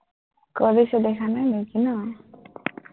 কৰিছো, দেখা নাই নেকি ন,